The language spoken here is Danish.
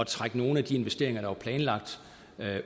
trække nogle af de investeringer der var planlagt